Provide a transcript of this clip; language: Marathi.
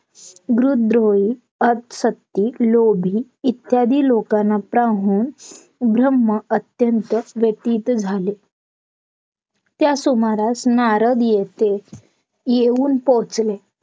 गृदोही, असत्यिक, लोभी इत्यादी लोकांना पाहून ब्रम्ह अत्यंत व्यतीत झाले त्यासुमारास नारद येथे येऊन पोहोचले